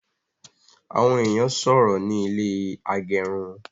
Awọn èèyàn sọrọ ní ilé agẹrun